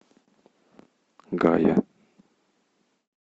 гая